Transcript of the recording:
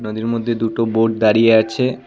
নদীর মধ্যে দুটো বোট দাঁড়িয়ে আছে।